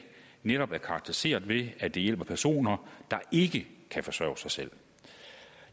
netop er karakteriseret ved at det hjælper personer der ikke kan forsørge sig selv